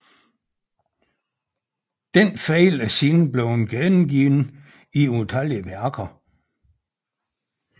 Denne fejl er siden blevet gengivet i utallige værker